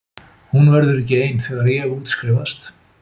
Hún verður ekki ein þegar ég útskrifast.